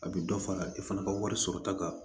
A bɛ dɔ fara i fana ka wari sɔrɔta kan